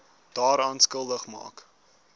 daaraan skuldig maak